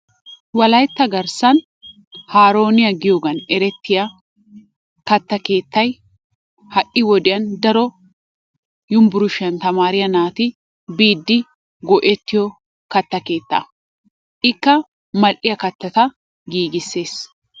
Wolaytta garssan haarooniya giyoogan erettiya katta keettay ha'i wodiyan daro Yunbburshshiyan tamaariya naati biidi go'ettiyo katta keettaa ikka mal'iya kattata giggissees.